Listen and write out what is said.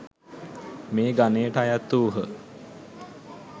මේ ගනයට අයත් වූහ.